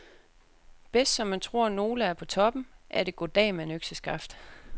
Bedst som man tror nogle er på toppen, er det goddag mand, økseskaft.